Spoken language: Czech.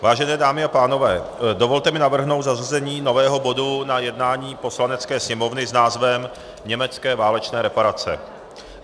Vážené dámy a pánové, dovolte mi navrhnout zařazení nového bodu na jednání Poslanecké sněmovny s názvem Německé válečné reparace.